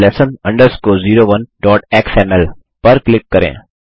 basic lesson 01xml पर click करें